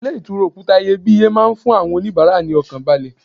Ilé ìtura òkúta iyebíye máa ń fún àwọn onibaara ní ọkàn balẹ̀.